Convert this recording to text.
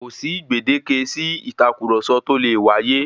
Kòsí gbèndéke sí ìtàkurọ̀sọ tó lè wáyé.